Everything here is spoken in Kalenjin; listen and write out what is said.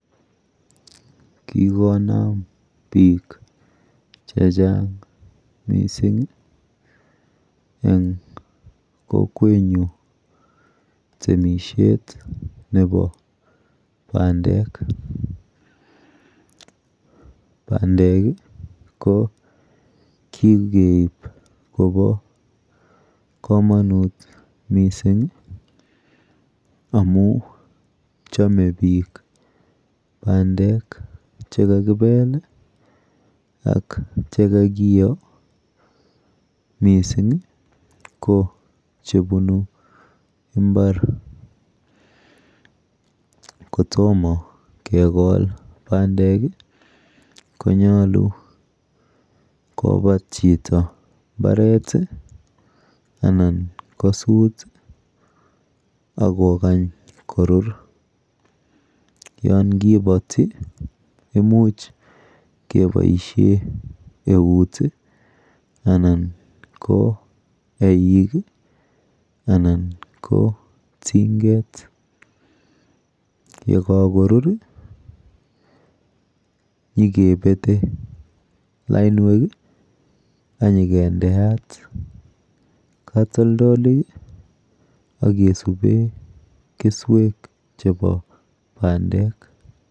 Kikonam biik chechang mising eng kokwenyu temishet nepo bandek. Bandek ko kikeip kopo komonut mising amu chome biik bandek chekakipel ak chekakiyo mising ko chebunu mbar. Kotomo kekol bandek konyolu kopat chito mbaret anan kosut akokany korur. Yonkipoti imuch keboishe eut anan ko eik anan ko tinget. Yekakorur nyikepete lainwek anyikendeat katoldolik akesube keswek chepo bandek.